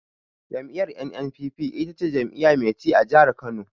Jam'iyyar NNPP ita ce jam'iyya mai ci a jihar Kano.